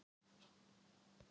Parketið er ónýtt.